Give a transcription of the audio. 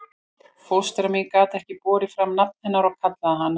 Fóstra mín gat ekki borið fram nafn hennar og kallaði hana